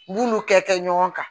N b'olu kɛ ɲɔgɔn kan